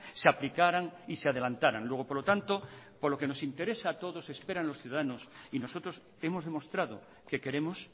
se aplicaran y se adelantaran luego por lo tanto por lo que nos interesa a todos esperan los ciudadanos y nosotros hemos demostrado que queremos